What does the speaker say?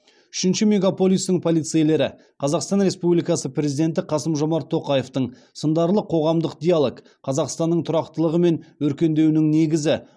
үшінші мегаполистің полицейлері қазақстан республикасы президенті қасым жомарт тоқаевтың сындарлы қоғамдық диалог қазақстанның тұрақтылығы мен өркендеуінің негізі